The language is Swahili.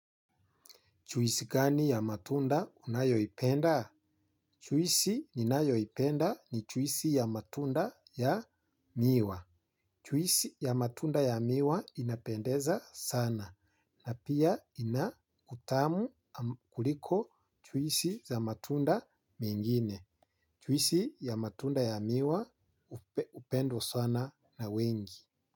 Juisi gani ya matunda unayoipenda? Juisi ninayoipenda ni juisi ya matunda ya miwa. Chwisi ya matunda ya miwa inapendeza sana. Na pia ina utamu kuliko juisi za matunda mingine. Juisi ya matunda ya miwa hupendwa sana na wengi.